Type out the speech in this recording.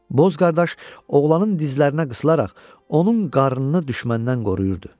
Boz qardaş oğlanın dizlərinə qısılaraq onun qarnını düşməndən qoruyurdu.